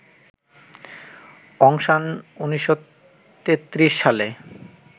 অং San ১৯৩৩ সালে